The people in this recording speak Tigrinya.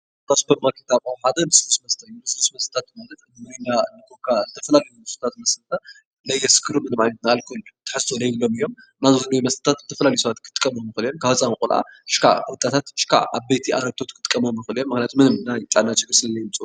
ካብ ሱፐርማርኬት ኣቕሑ ሓደ ልስሉስ መስተ እዩ፡፡ ልስሉስ መስተታት ማለት ሚሪንዳ፣ ኮካ ዝተፈላለዩ ልስሉሳት መስተታት ለየስክሩ ምንም ዓይነት ናይ ኣልኮል ትሕዝቶ ለይብሎም እዮም፡፡ እና ልስሉስ መስተታት ዝተፈላለዩ ሰባት ክጥቀምሎም ይኽእሉ እዮም፡፡ ካብ ህፃን ቆልዓ እሽካዕ ወጣታት እሽካዕ ዓበይቲ ኣረጉቶት ክጥቀምሎም ይኽእሉ እዮም፡፡ ምንም ዓይነት ሽግር ስለለይምፅኡ።